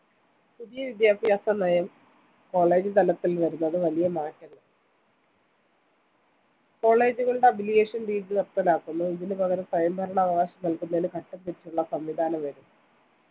പുതിയ വിദ്യാഭ്യാസ നയം college തലത്തിൽ വരുന്നത് വലിയ മാറ്റങ്ങൾ college കളുടെ affiliation രീതി നിര്‍ത്തലാക്കുന്നു ഇതിന് പകരം സ്വയംഭരണാവകാശം നല്‍കുന്നതിന് ഘട്ടംതിരിച്ചുള്ള സംവിധാനം വരും